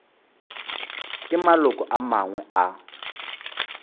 ke maloko a mangwe a